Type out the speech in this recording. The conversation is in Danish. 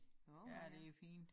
Ja det fint